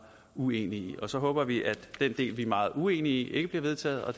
uenige i og så håber vi at den del vi er meget uenige i ikke bliver vedtaget og